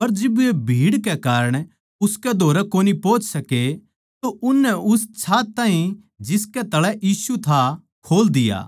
पर जिब वे भीड़ कै कारण उसकै धोरै कोनी पोहच सके तो उननै उस छात ताहीं जिसकै तळै यीशु था खोल दिया